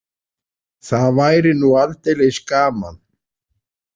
Það væri nú aldeilis gaman!